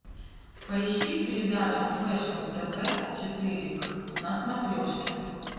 поищи передачу фэшн тв четыре к на смотрешке